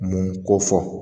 Mun ko fɔ